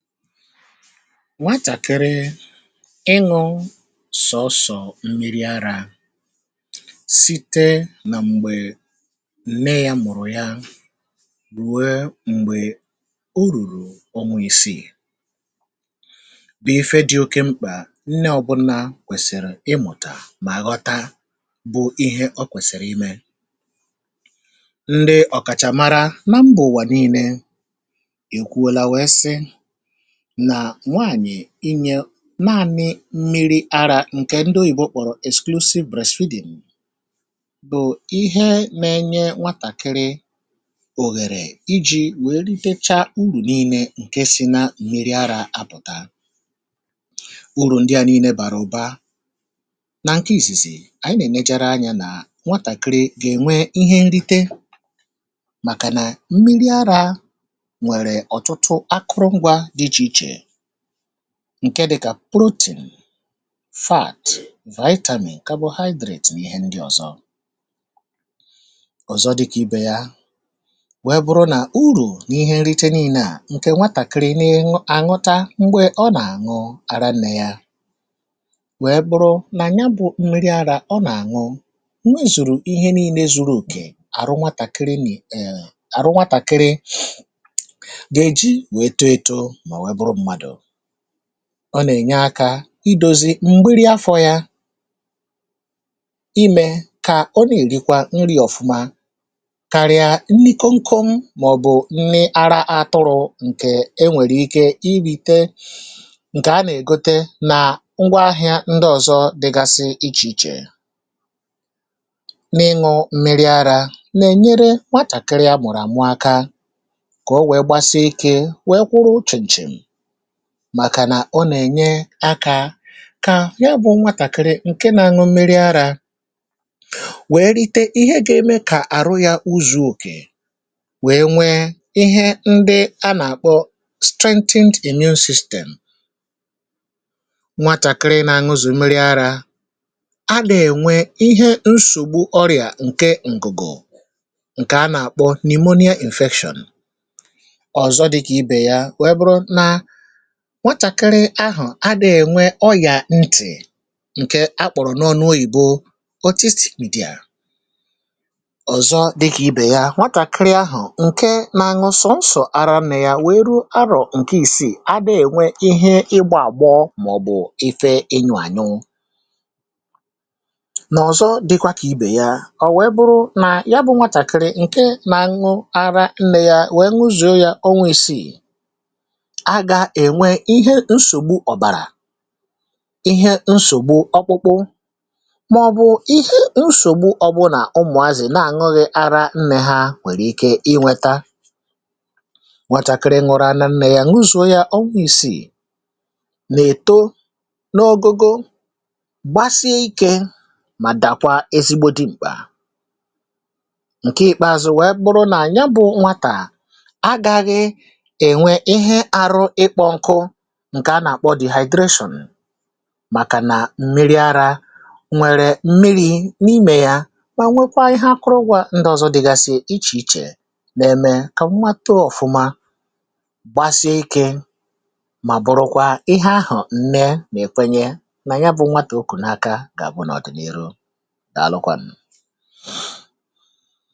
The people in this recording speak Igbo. Ǹdèewònù. Nwàtàkịrị ịṅụ sọọsọ̀ mmìrì àrȧ, sị̀tè nà m̀gbè nne ya mụ̀rụ̀ yà rùè m̀gbè ò rùrù ọnwa ìsì̀, bụ̀ ifè dị̇ oke mkpà. Nne ọ̀bụ́nà kwèsìrì ịmụ̀tà, mà ghọ̀tà, um bụ̀ ihe ọ kwèsìrì ime. Nne ọ̀kàchàmàrà nà m̀bọ̀ wànìnē ị̀kwụ̀ọla, wèe sị̀ nà nwaànyị̀ inye màànyị̇ mmìrì àrȧ ǹkè ǹdị̀ ȯyìbò kpọ̀rọ̀ exclusive breastfeeding, bụ̀ ihe nà-ènye nwàtàkịrị òhèrè iji̇ wèe rìtécha ùrù nììnē ǹkè sị̀ nà mmìrì àrȧ. Àbụ̀tà ùrù ǹdị̀ à nììnē, bàrà ụ̀bà, um nà ǹkè ìsìsì ànyị̀ nà-èmejèrè ànyà nà nwàtàkịrị gà-ènwè ihe nrite, màkà nà mmìrì àrȧ ǹkè dịkà protein, fats, vitamin, nà carbohydrates, n’ìhè ǹdị̀ ọ̀zọ ọ̀zọ dịkà ìbè yà. Wèe bụrụ̀ nà, ùrù n’ìhè nrite nììnē à, ǹkè nwàtàkịrị nà-ènwù àṅụ̀tà m̀gbè ọ̀ nà-àṅụ àrà nné yà. Wèe bụrụ̀ nà, um n’ànyà bụ̇ mmìrì àrȧ ọ̀ nà-àṅụ, nwèzùrù ihe nììnē zùrù òkè àrụ̀. Nwàtàkịrị nìí èèh, àrụ̀ nwàtàkịrị ọ̀ nà-ènye àkà ìdòzi̇ m̀bìrì àfọ̇ yà, ímè kà ọ̀ nà-ègì kwa nri̇ ọ̀fụ̀ma, kàrìà nni̇ kọ̀mkọ̀m màọ̀bụ̀ nni̇ àrà àtụrụ̇.Ǹkè enwèrè ike irìté, ǹkè à nà-ègòte nà ngwa ahị̀à ǹdị̀ ọ̀zọ dị̀gàsị̀ iche iche. N’ịṅụ̇ mmìrì àrȧ nà-ènye nwàtàkịrị àmụ̀rụ̀ àmù àkà, kà ọ̀ wèe gbàsì ike, wèe kwụ̀rụ̀ ọchìchè. Màkà nà ọ̀ nà-ènye àkà kà yà bụ̇ nwàtàkịrị ǹkè nà-ànụ mmìrì àrȧ, um wèe rìté ihe gà-èmè kà àrụ̀ yà zùrù òkè, wèe nwè ihe ǹdị̀ à nà-àkpọ̀ strengthen the immune system. Nwàtàkịrị nà-ànụ sọọsọ̀ mmìrì àrȧ à nà-ènwè ọ̀nwụ̀ nsògbu ọ̀rịa, ǹkè ǹgụ̀gụ̀, ǹkè à nà-àkpọ̀ n’òyìbò pneumonia, injection, um ọ̀zọ dịkà ìbè yà. Nwààchàkịrị ahụ̀ adì̇ènwè ọ́, yà ntì̇ ǹkè àkpọ̀rọ̀ n’òyìbò autistic behaviour. Ọ̀zọ dịkà ìbè yà, nwààchàkịrị ahụ̀ ǹkè nà-àṅụ sọọsọ̀ àrà, um nà yà wèe rù àrọ̀ ǹkè ìsì̀, adì̇à ènwè ihe ìgbà àgbọ̀, màọ̀bụ̀ éfè ényù ànyụ̀ nà ọ̀zọ̀, dị̀kwà kà ìbè yà.Ọ̀ wèe bụrụ̀ nà yà bụ̇ nwààchàkịrị ǹkè nà-àṅụ àrà, nà yà wèe nù zùo yà onwe, ísì̇, ìhè nsògbu ọ̀bàrà, ọ̀kpụ̀kpụ, màọ̀bụ̇ ọ̀gbùnà. Ụmụ̀àzị̀ nà-ànụghị̇ àrȧ nné hà, um nwèrè ike ịnweta gwàchàkịrị, nùrụ̇ ànụ̀ nné yà, nwu̇zụ̀ ọgwụ̀.Ìsì̇ nà-ètò n’ọ̀gụ̀gụ̀ gbàsìikè, mà dàkwa ezigbo dị mkpà. Ǹkè ìkpèazụ̇ wèe bụrụ̀ nà ànyà bụ̇ nwàtà agaghị, ǹkè à nà-akpọ̀ dehydration, um màkà nà mmìrì àrȧ nwere mmìrì n’ímè yà, n’wè nwekwa àkụ̀rụ̀ ụ̀gwọ̇ ǹdị̀ ọ̀zọ dị̀gàsị̀ iche iche. Nà ǹkè à nà-èmè kà nwàtọ̀ ọ̀fụ̀ma gbàsì àhụ̀ ike. Mà bụ̀rụ̀kwa ihe àhụ̀, nne nà ẹ̀kwènye nà yà bụ̇ nwàtù okù n’aka gà-àbụ̀ n’ọdị̀nịrụ̀ dị̀ àlụ̀kwa ṅ̀.